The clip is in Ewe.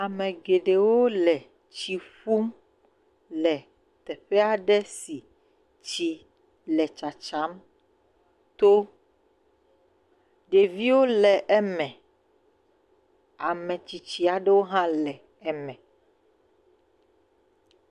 Ame geɖewo le tsi ƒum le teƒe aɖe si tsi le tsatsam to. Ɖeviwo le eme. Ame tsitsi aɖewo hã le eme.